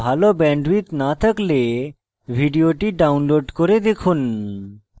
ভাল bandwidth না থাকলে ভিডিওটি download করে দেখুন